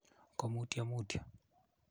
ko mutyo mutyo